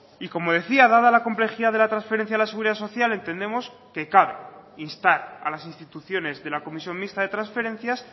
y como decía dada la complejidad de la transferencia de la seguridad social entendemos que cabe instar a las instituciones de la comisión mixta de transferencias